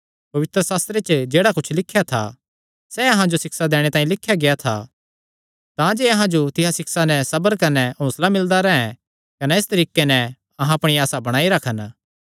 पवित्रशास्त्रे च जेह्ड़ा कुच्छ लिख्या था सैह़ अहां जो सिक्षा दैणे तांई लिख्या गेआ था तांजे अहां जो तिसा सिक्षा नैं सबर कने हौंसला मिलदा रैंह् कने इस तरीके नैं अहां अपणी आसा बणाई रखन